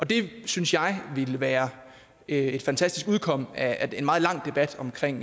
det synes jeg ville være et fantastisk udkomme af en meget lang debat omkring